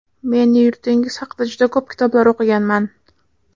Men yurtingiz haqida juda ko‘p kitoblar o‘qiganman.